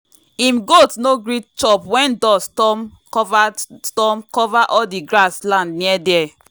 him goats no gree chop when dust storm cover storm cover all the grass land near there.